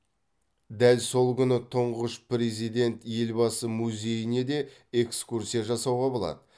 дәл сол күні тұңғыш президент елбасы музейіне де экскурсия жасауға болады